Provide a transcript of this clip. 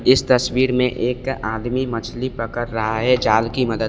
इस तस्वीर में एक आदमी मछली पकड़ रहा है जाल की मदद--